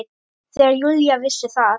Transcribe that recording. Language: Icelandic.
Þegar Júlía vissi að